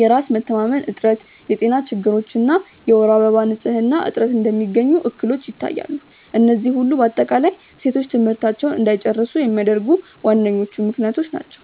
የራስ መተማመን እጥረት፣ የጤና ችግሮች እና የወር አበባ ንፅህና እጥረት እንደሚገኙ እክሎች ይታያሉ፤ እነዚህ ሁሉ በአጠቃላይ ሴቶች ትምህርታቸውን እንዳይጨርሱ የሚያደርጉ ዋነኞቹ ምክንያቶች ናቸው።